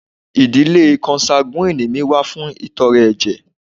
Idile konsaguwini mi wa fun itọrẹ ẹjẹ